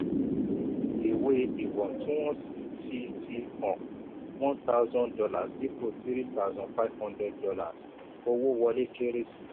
ìwé iwọntúnwọnsì fi fi hàn one thousand dollars dípò three thousand five hundred dollars —owó wọlé kéré sí.